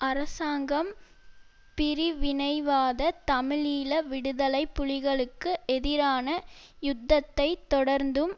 அரசாங்கம் பிரிவினைவாத தமிழீழ விடுதலை புலிகளுக்கு எதிரான யுத்தத்தை தொடர்ந்தும்